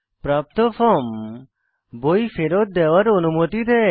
প্রাপ্ত ফর্ম বই ফেরৎ দেওয়ার অনুমতি দেয়